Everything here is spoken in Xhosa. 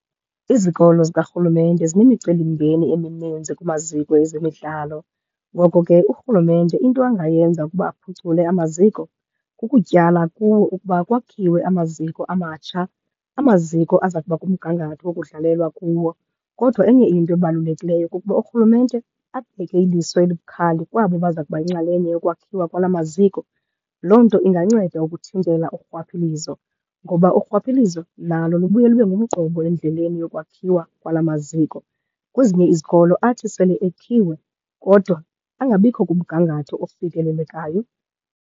Izikolo zikarhulumente sinemicelimngeni emininzi kumaziko ezemidlalo. Ngoko ke urhulumente into angayenza ukuba aphucule amaziko, kukutyala kuwo ukuba kwakhiwe amaziko amatsha, amaziko aza kuba kumgangatho wokudlalelwa kuwo. Kodwa enye into ebalulekileyo kukuba urhulumente abeke iliso elibukhali kwabo baza kuba yinxalenye yokwakhiwa kwala maziko. Loo nto inganceda ukuthintela urhwaphilizo ngoba urhwaphilizo nalo lubuye lube ngumqobo endleleni yokwakhiwa kwala maziko. Kwezinye izikolo athi sele ekhiwe kodwa angabikho kumgangatho ofikelelekayo.